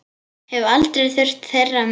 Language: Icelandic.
Hef aldrei þurft þeirra með.